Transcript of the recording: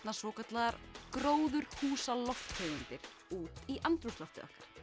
svokallaðar gróðurhúsa lofttegundir út í andrúmsloftið